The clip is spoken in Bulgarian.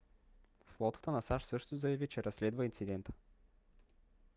флотата на сащ също заяви че разследва инцидента